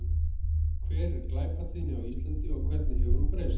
Hver er glæpatíðni á Íslandi og hvernig hefur hún breyst?